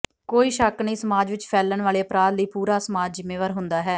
ਕੋਈ ਸ਼ੱਕ ਨਹੀਂ ਸਮਾਜ ਵਿੱਚ ਫੈਲਣ ਵਾਲੇ ਅਪਰਾਧ ਲਈ ਪੂਰਾ ਸਮਾਜ ਜ਼ਿੰਮੇਵਾਰ ਹੁੰਦਾ ਹੈ